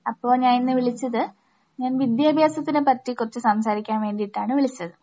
അപ്പോ ഞാനിന്ന് വിളിച്ചത്, ഞാൻ വിദ്യാഭ്യാസത്തിനെപ്പറ്റി കുറച്ച് സംസാരിക്കാൻ വേണ്ടിയിട്ടാണ് വിളിച്ചത്.